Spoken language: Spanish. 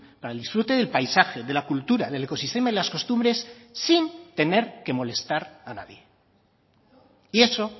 para el disfrute del paisaje de la cultura del ecosistema y las costumbres sin tener que molestar a nadie y eso